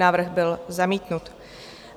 Návrh byl zamítnut.